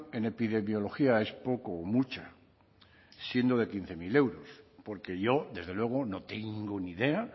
en epidemiología es poca o mucha siendo de quince mil euros porque yo desde luego no tengo ni idea